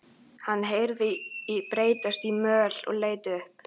Hann heyrði bresta í möl og leit upp.